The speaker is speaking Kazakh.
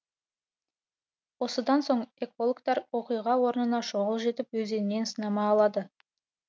осыдан соң экологтар оқиға орнына шұғыл жетіп өзеннен сынама алады